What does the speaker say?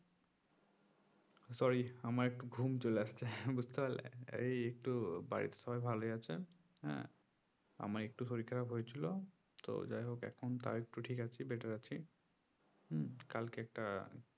sorry আমার একটু ঘুম চলে আসছে বুজতে পারলে এই একটু বাড়িতে সবাই ভালো আছে হ্যাঁ আমার একটু শরীর খারাপ হয়েছিল তো যাই হোক এখন তাও একটু ঠিক আছি better আছি হম কালকে একটা